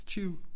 20